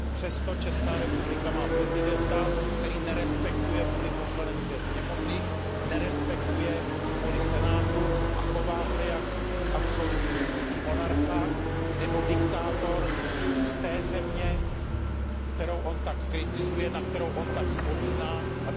Přesto Česká republika má prezidenta, který nerespektuje vůli Poslanecké sněmovny, nerespektuje vůli senátu a chová se jako absolutistický monarcha nebo diktátor z té země, kterou on tak kritizuje, na kterou on tak vzpomíná, tzn.